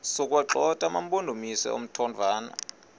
sokuwagxotha amampondomise omthonvama